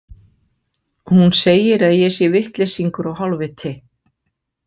Hún segir að ég sé vitleysingur og hálfviti